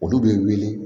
Olu bɛ wuli